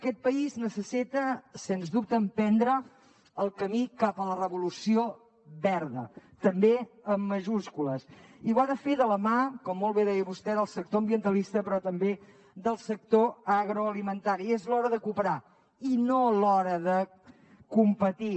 aquest país necessita sens dubte emprendre el camí cap a la revolució verda també amb majúscules i ho ha de fer de la mà com molt bé deia vostè del sector ambientalista però també del sector agroalimentari i és l’hora de cooperar i no l’hora de competir